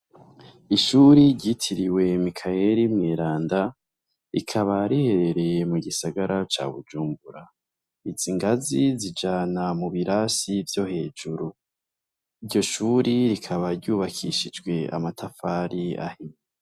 Ishuri ryitiriwe Mikayeri mweranda, rikaba riherereye mu gisagara ca Bujumbura. Izi ngazi zijana mu birasi vyo hejuru. Iryo shuri ryubakishije amatafari ahiye.